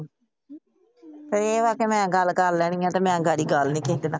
ਤੂੰ ਆਪਣਾ ਗੱਲ ਕਰ ਲੈਣੀ ਏ ਤੇ ਮੈ ਅਗਾੜੀ ਗੱਲ ਨਹੀਂ ।